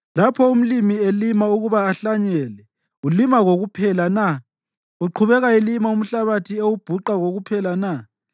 Lapho umlimi elima ukuba ahlanyele, ulima kokuphela na? Uqhubeka elima umhlabathi ewubhuqa kokuphela na?